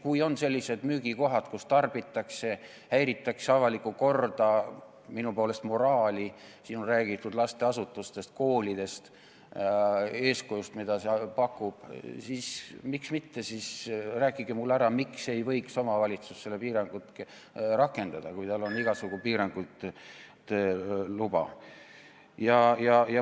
Kui on sellised müügikohad, kus tarbitakse alkoholi ja häiritakse avalikku korda, minu poolest minnakse vastuollu moraaliga – siin on räägitud lasteasutustest, koolidest ja eeskujust, mida pakutakse –, siis miks mitte, rääkige mulle ära, miks ei võiks omavalitsus seda piirangut rakendada, kui tal on igasuguste piirangute luba.